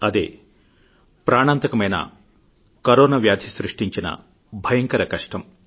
అదే ప్రాణాంతకమైన కరోనా వ్యాధి సృష్టించిన భయంకర కష్టం